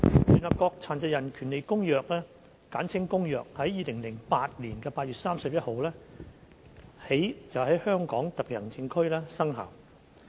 聯合國《殘疾人權利公約》自2008年8月31日起在香港特別行政區生效。